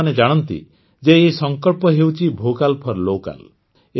ଆପଣମାନେ ଜାଣନ୍ତି ଯେ ଏହି ସଂକଳ୍ପଟି ହେଉଛି ଭୋକାଲ ଫୋର ଲୋକାଲ